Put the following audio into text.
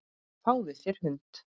Fáðu þér hund.